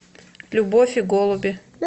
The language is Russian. любовь и голуби